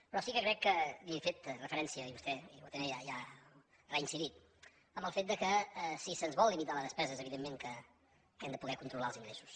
però sí que crec que li he fet referència i vostè hi ha reincidit al fet que si se’ns vol limitar la despesa evidentment que hem de poder controlar els ingressos